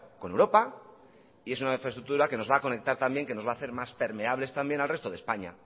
con europa y es una infraestructura que nos va a conectar también que nos va a hacer más permeables también al resto de españa